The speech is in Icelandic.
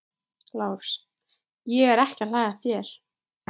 LÁRUS: Ég er ekki að hlæja að þér.